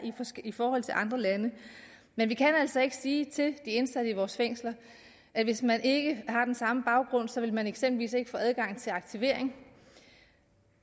i forhold til andre lande men vi kan altså ikke sige til de indsatte i vores fængsler at hvis man ikke har den samme baggrund så vil man eksempelvis ikke få adgang til aktivering